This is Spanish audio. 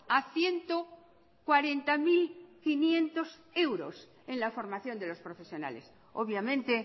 a ciento cuarenta mil quinientos euros en la formación de los profesionales obviamente